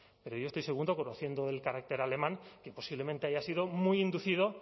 pero yo estoy seguro conociendo el carácter alemán que posiblemente haya sido muy inducido